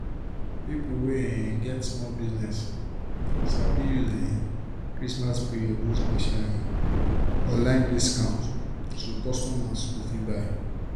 pipo wey um get small business sabi use um christmas period do special um online discount so customers go fit buy.